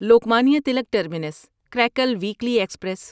Lokmanya Tilak terminus Karaikal weekly express